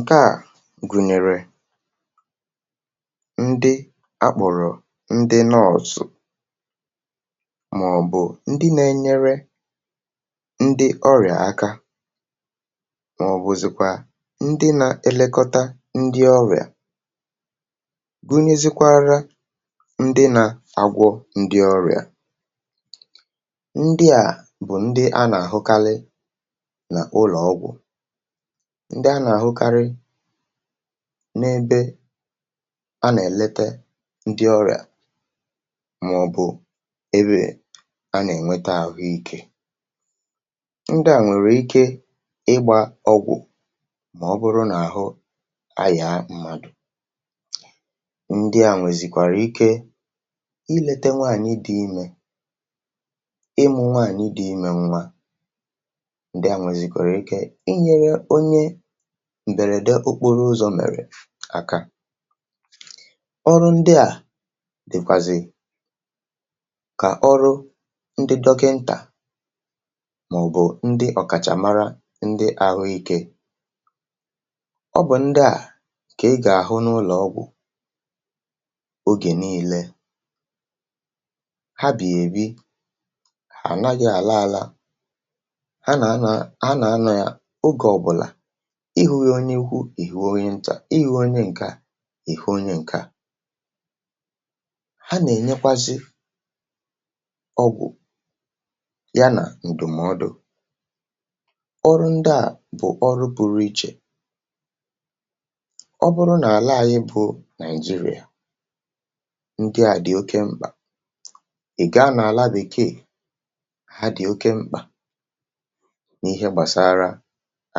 ǹkeà gụ̀nyèrè ndị akpụ̀rụ̀ ndị north, màọ̀bụ̀ ndị nà-enyere ndị ọrịà aka, màọ̀bụ̀zị̀kwà ndị nà-elekọta ndị ọrịà. Gụnịzịkwara ndị nà-agwọ ndị ọrịà, ndịà bụ̀ ndị a nà-àhụkarị n’ụlọ̀ ọgwụ̀, n’ebe a nà-èlete ndị ọrị̀à màọ̀bụ̀ ebe a nà-ènweta àhụike. Ndị à nwèrè ike ịgbȧ ọgwụ̀ màọ̀bụrụ n’àhụ ahịà mmadụ̀. Ndị à nwèzìkwàrà ike ilėte nwaànyị dị̇ imė, ịmụ̇ nwaànyị dị̇ imė, nwa. Ndị à nwèzìkwèrè ike m̀gbèrède okporo ụzọ̇ mèrè àkà ọrụ, ndị à dị̀kwàzị̀ kà ọrụ ndị dọkịntà màọ̀bụ̀ ndị ọ̀kàchàmara ndị ahụikė. Ọ bụ̀ ndị à kà ị gà-àhụ n’ụlọ̀ ọgwụ̀, ogè nii̇lė. um Ha bù èbi ànaghị àla àla, a nà-anà, a nà-anà, ya. Ịhùyé onye ikwu̇, ìhù onye ntà, ịhùwu onye ǹke à, ìhù onye ǹkè à. Ha nà-ènyekwazị ọgwụ̀, ya nà ǹdụ̀mọdụ̀. Ọrụ ndị à bụ̀ ọrụ bụrụ ichè. Ọ bụrụ nà àla à, ịbụ̇ Nigeria, ndị à dị̀ oke mkpà. Ì ga nà àla bèkeè, ha dị̀ oke mkpà n’ihe gbàsara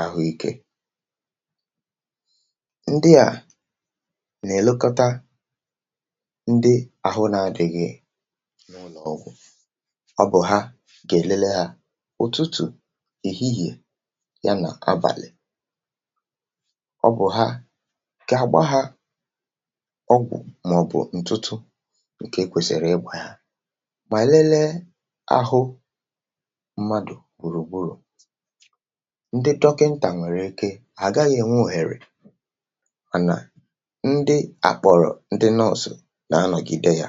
àhụ ikė. Ndị à nà-èlekọta ndị ahụ nȧ-ȧdị̇ghị̀, ọ bụ̀ ha gà-èlele hȧ ụ̀tụtụ̀, èhihìè, ya nà abàlị̀. Ọ bụ̀ ha gà-àgba hȧ ọgwụ̀, màọ̀bụ̀ ǹtụtụ, ǹkè kwèsìrì ịgwȧ hȧ mà lelee ahụ mmadụ̀ gbùrùgburù. Mà nà ndị àkpọrọ̀ ndị nọ̇sụ̀ na-anọ̀gide yȧ.